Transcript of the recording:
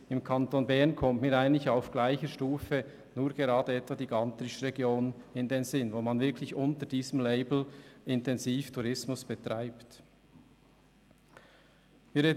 Im Kanton Bern kommt mir vergleichbar nur gerade die Gantrisch-Region in den Sinn, in der unter diesem Label intensiv Tourismus betrieben wird.